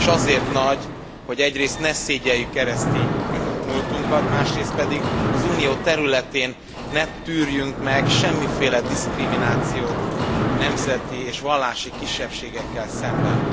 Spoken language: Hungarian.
És azért nagy, hogy egyrészt ne szégyelljük keresztény múltunkat, másrészt pedig az Unió területén ne tűrjünk meg semmiféle diszkriminációt nemzeti és vallási kisebbségekkel szemben.